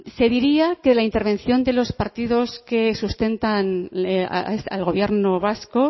se diría que la intervención de los partidos que sustentan al gobierno vasco